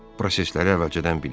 Prosesləri əvvəlcədən bilir.